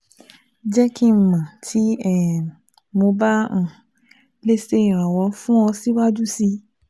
jẹ ki n mọ ti um mo ba um le ṣe iranlọwọ fun ọ siwaju sii